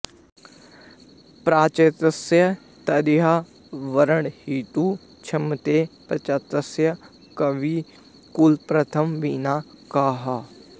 प्राचेतसं तदिह वर्णयितुं क्षमेत प्राचेतसं कविकुलप्रथमं विना कः